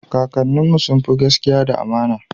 kakanin mu sunfi gaskia da amana